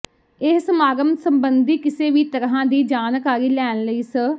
ਇਸ ਸਮਾਗਮ ਸਬੰਧੀ ਕਿਸੇ ਵੀ ਤਰ੍ਹਾਂ ਦੀ ਜਾਣਕਾਰੀ ਲੈਣ ਲਈ ਸ